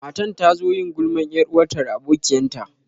Matan ta zo yin gulman yar'uwanta da abokiyan ta.